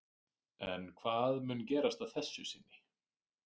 En hvað mun gerast að þessu sinni?